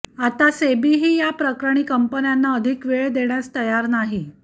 आता सेबीही या प्रकरणी कंपन्यांना अधिक वेळ देण्यास तयार नाही